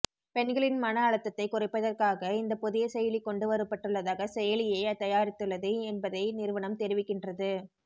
பெண்களின் மன அழுத்தத்தை குறைப்பதற்காக இந்த புதிய செயலி கொண்டு வரப்பட்டுள்ளதாக செயலியை தயாரித்துள்ளது என்பதை நிறுவனம் தெரிவிக்கின்றது